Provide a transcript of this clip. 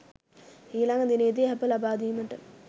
ඊළඟ දිනයේදී ඇප ලබාදීමට